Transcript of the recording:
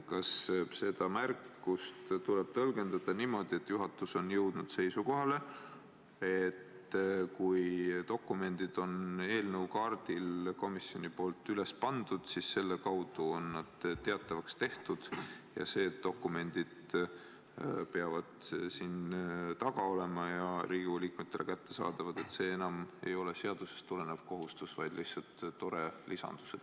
Kas seda märkust tuleb tõlgendada niimoodi, et juhatus on jõudnud seisukohale, et kui dokumendid on komisjoni poolt eelnõukaardile üles pandud, siis selle kaudu on nad teatavaks tehtud, ja see, et dokumendid peavad siin saali tagaosas olema Riigikogu liikmetele kättesaadavad, ei ole enam seadusest tulenev kohustus, vaid lihtsalt tore lisandus?